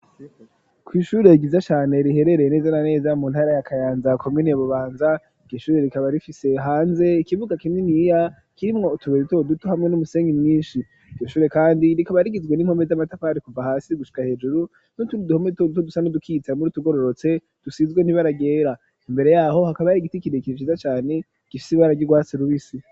kw'ishurire ryiza cane riherereye neza na neza mu ntara ya Kayanza komine Bubanza iryo shuri rikaba rifise hanze ikibuga kinini kirimwo utubuye duto duto hamwe n'umusenyi mwishi iryo shure kandi rikaba rigizwe n'impome z'amatapari kuva hasi gushika hejuru n'utundi duhome duto duto dusa n'udukitse hamwe n'utugororotse dusizwe n'ibara ryera imbere yaho hakaba hari igiti kirekire ciza cane gifise ibara ry'urwatsi rubisi.